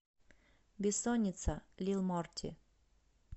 бессонница лил морти